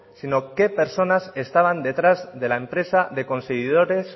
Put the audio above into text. sino qué personas estaban detrás de la empresa de conseguidores